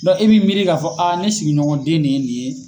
i b'i miiri k'a fɔ a ne sigiɲɔgɔn den de ye nin ye.